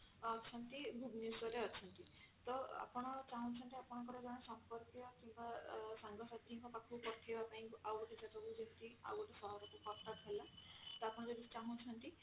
ଭୁବନେଶ୍ଵର ରେ ଅଛନ୍ତି ତ ଆପଣ ଚାହୁଁଛନ୍ତି ଆପଣଙ୍କର ଜଣେ ସମ୍ପର୍କୀୟ କିମ୍ବା ଅ ସାଙ୍ଗ ସାଥିଙ୍କ ପାଖକୁ ପଠେଇବା ପାଇଁ ଆଉ ଗୋଟେ କେତେବେଳେ କେମିତି ଆଉ ଗୋଟେ ସହର କୁ କଟକ ହେଲା ତ ଆପଣ ଯଦି ଚାହୁଁଛନ୍ତି